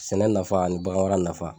Sɛnɛ nafa ani bagan mara nafa.